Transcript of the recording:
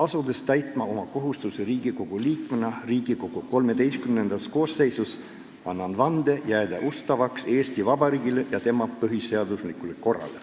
Asudes täitma oma kohustusi Riigikogu liikmena Riigikogu XIII koosseisus, annan vande jääda ustavaks Eesti Vabariigile ja tema põhiseaduslikule korrale.